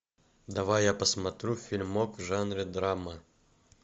давай я посмотрю фильмок в жанре драма